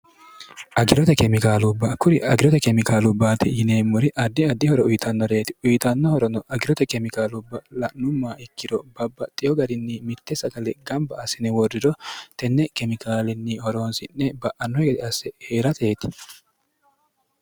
agirote kemikaalubbaa kuri agirote kemikaalubbaate yineemmori addiaddihoro uyitannoreeti uyitannohorono agirote kemikaalubba la'numma ikkiro babbaxxiyo garinni mitte sagale gamba assine woordiro tenne kemikaalinni horoonsi'ne ba'anno egede asse hee'rateeti